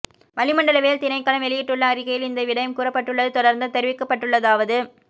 வளிமண்டலவியல் திணைக்களம் வெளியிட்டுள்ள அறிக்கையில் இந்த விடயம் கூறப்பட்டுள்ளது தொடர்ந்தும் தெரிவிக்கப்பட்டுள்ளதாவது